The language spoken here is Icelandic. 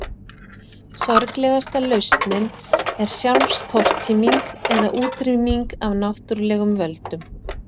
Sorglegasta lausnin er sjálfstortíming eða útrýming af náttúrulegum völdum.